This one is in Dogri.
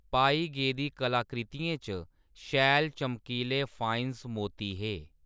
पाई गेदी कलाकृतियें च शैल चमकीले फाएनस मोती हे।